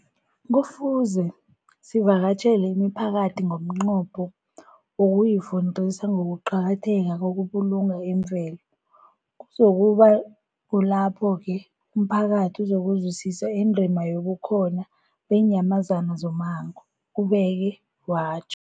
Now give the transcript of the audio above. Kufuze sivakatjhele imiphakathi ngomnqopho wokuyifundisa ngokuqakatheka kokubulunga imvelo. Kuzoku ba kulapho-ke umphakathi uzokuzwisisa indima yobukhona beenyamazana zommango, ubeke watj